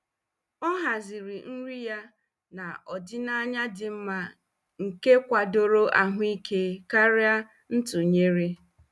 Ọ haziri nri ya na ọdịnaya dị mma nke kwadoro ahụike karịa ntụnyere.